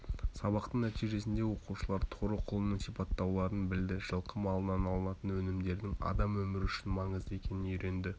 сабақтың нәтижесінде оқушылар торы құлынның сипаттауларын білді жылқы малынан алынатын өнімдердің адам өмірі үшін маңызды екенін үйренді